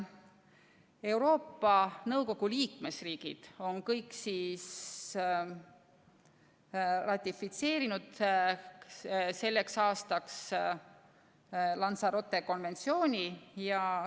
Euroopa Nõukogu liikmesriigid on kõik ratifitseerinud selleks aastaks Lanzarote konventsiooni.